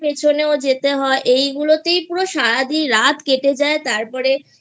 Tution এর পিছনেও যেতে হয় এইগুলোতেই পুরো সারা দিনরাত কেটে যায় তারপরে